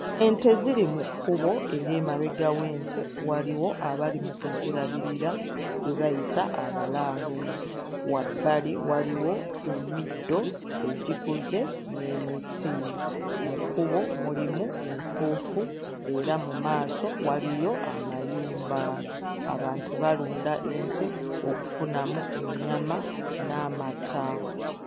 Ente ziri mu kkubo era emabega w'ente waliwo abali mu kuzirabirira be bayita abalaalo wabbali waliwo emiddo egikuze n'emiti. Mu kkubo mulimu enfuufu era mu maaso waliyo amayumba. Abantu balunda ente okufunamu ennyama n'amata.